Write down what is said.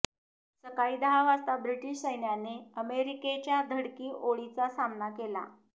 सकाळी दहा वाजता ब्रिटीश सैन्याने अमेरिकेच्या धडकी ओळीचा सामना केला